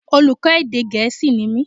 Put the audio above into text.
Olùkọ́ èdè gẹ̀é̩sì ni mí